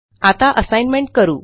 आता असाइनमेंट करू